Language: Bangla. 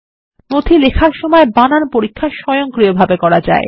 ডকুমেন্ট লেখার সময় বানান পরীক্ষা স্বয়ংক্রিয়ভাবে করা যায়